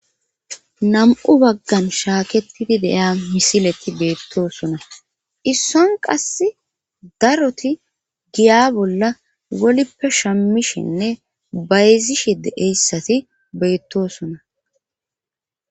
nam'u baggan shaaketidi de'iya misileti beettosona isson qass daroti giya bolla wolippe shammishenne bayzishe de'eyssati beettosona